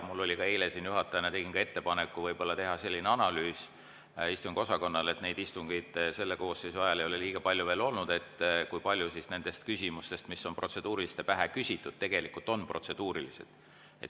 Ma ka eile juhatajana tegin ettepaneku istungiosakonnale võib-olla teha selline analüüs – istungeid selle koosseisu ajal ei ole veel liiga palju olnud –, kui paljud nendest küsimustest, mida on protseduuriliste pähe küsitud, on tegelikult protseduurilised.